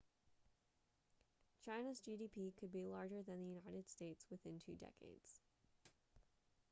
china's gdp could be larger than the united states within two decades